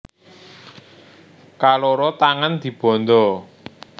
Kaloro tangan dibanda